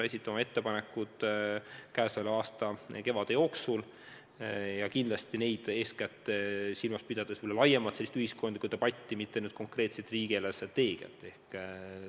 Me esitame oma ettepanekud selle aasta kevade jooksul ja kindlasti eeskätt silmas pidades laiemat ühiskondlikku debatti, mitte konkreetselt riigi eelarvestrateegiat.